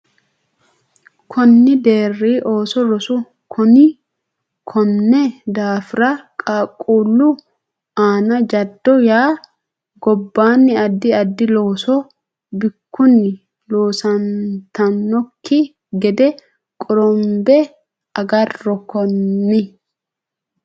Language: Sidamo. Konni deerri ooso rosu Konni daafira qaaqquullu aana jaddo yanna gobbaanni addi addi looso bikkunni loosantannokki gede qorombe agarro Konni.